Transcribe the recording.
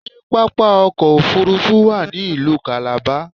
Ṣé pápá ọkọ̀ òfuurufú wà ní ìlú Calabar?